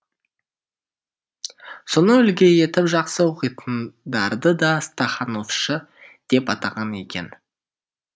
соны үлгі етіп жақсы оқитындарды да стахановшы деп атаған екен